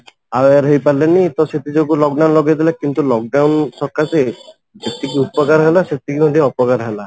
aware ହେଇପାରିଲେନି ତ ସେଥି ଯୋଗୁ lock down ଲଗେଇଦେଲେ କିନ୍ତୁ lock down ସରକାର ଯେତିକି ଉପକାର ହେଲା ସେତିକି ମଧ୍ୟ ଅପକାର ହେଲା